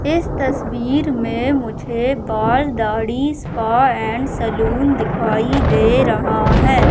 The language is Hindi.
इस तस्वीर में मुझे बाल दाढ़ी स्पा एंड सैलून दिखाई दे रहा है।